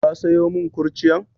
Ka sayo mun kurciyan?